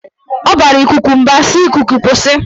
Ọ bara ikuku mba si"Ikuku kwụsị!